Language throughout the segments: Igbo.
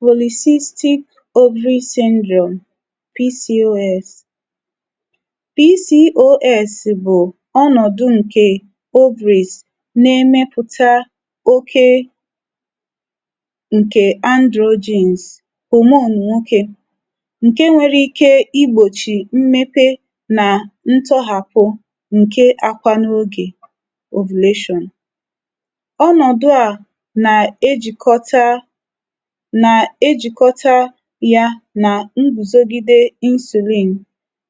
polyscistic ovary syndrome PCOS PCOS bụ̀ ọnọ̀dụ̀ na ẹmẹpụ̀ta oke ǹkè androgyns, hormone nwoke, ǹke nwere ike i gbòchì mmepe nà ntọhàpụ̀ ǹke akwa n’ogè ovulation. ọnọ̀dụ à nà ejìkọta nà ejìkọta ya nà ngùzogide insulin,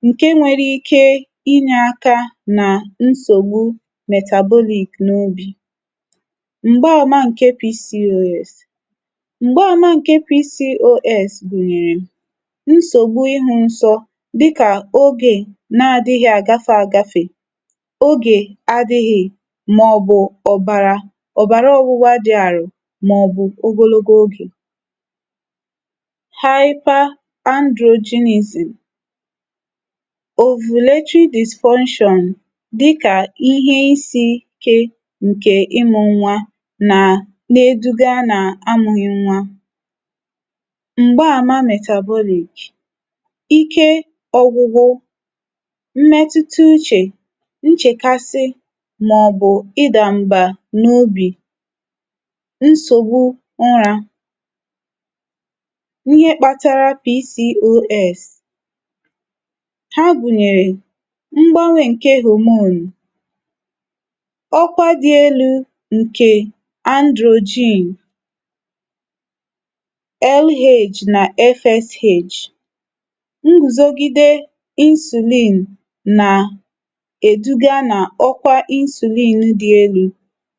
ǹke nwere ike ịnyẹ̄ aka nà nsògbu metabolic n’ogè. m̀gbàma ǹkẹ PCOS. m̀gbàma ǹkẹ PCOS gùnyèrè: nsògbu ịhụ̄ nsọ, dịkà ogè na adịghị àgafe agafè, ogè, mà ọ̀ bụ̀ ọ̀bàra ọgbụgba dị àrò, mà ọ̀ bụ̀ ogologo ogè. hyper androgynysm. ovulatory dysfunction, dịkà ịhẹ isī ike, ǹkè ịmụ̄ nwa na na eduga nà amụ̄ghị nwa. m̀gbama metabolic: ike ọgwụgwụ, mmẹtụta uchè, nchẹ̀kasị, mà ọ̀ bụ̀ ịdà m̀bà n’obì, nsògbu ụrā. ihe kpatara PCOS. ha gùnyèrè, mgbanwē ǹke hormone, ọkwa dị̄ elū ǹkè androgyn, LH nà FSH. nrùzogide insulin nà èduga nà ọkwa insulin dị elū,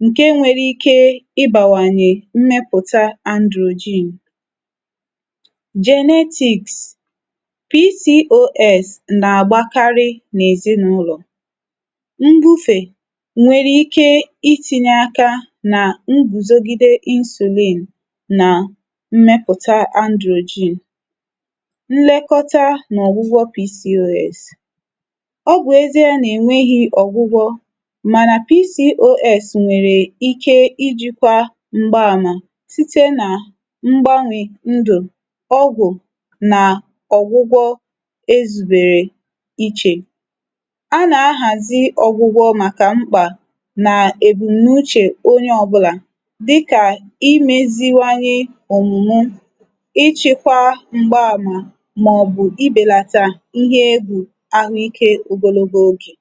ǹke nwere ike ịbàwànyẹ̀ mmẹpụ̀ta androgyn. genetics. PCOS nà àgbakarị n’èzịnụlọ̀. mbufè nwèrè ike ị tinye aka nà nrùzogide insulin, nà mmẹpụ̀ta androgyn. nlẹkọta nà ọ̀gwụgwọ PCOS. ọ bụ̀ ezīe nà ènweghị ọ̀gwụgwọ, mànà PCOS nwẹ̀rẹ̀ ike ịjị̄kwa mgbaàma, site nà mgbanwè ndụ̀, ọgwụ̀ nà ọ̀gwụgwọ ezùbèrè ichè. a nà ahàzi ọ̀gwụgwọ màkà mkpà, nà èbùmnuchè onye ọbụlà, dịkà imēziwanye òmùme, ịchekwa mgbamà, mà ọ̀ bụ̀ ibèlata ihe egbù ahụ ike ogologo ogè.